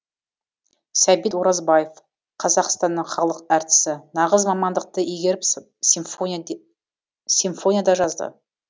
сәбит оразбаев қазақстанның халық әртісі нағыз мамандықты игеріп симфония да жазды